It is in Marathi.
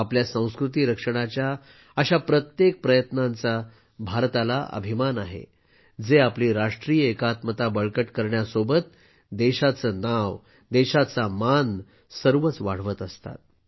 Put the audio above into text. आपल्या संस्कृती रक्षणाच्या अशा प्रत्येक प्रयत्नांचा भारताला अभिमान आहे जे आपली राष्ट्रीय एकात्मता बळकट करण्यासोबतच देशाचं नाव देशाचा मान सर्वच वाढवत असतात